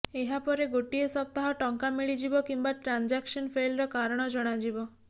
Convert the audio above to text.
ଏହା ପରେ ଗୋଟିଏ ସପ୍ତାହ ଟଙ୍କା ମିଳିଯିବ କିମ୍ବା ଟ୍ରାଞ୍ଜାକ୍ସନ ଫେଲର କାରଣ ଜଣାଯିବ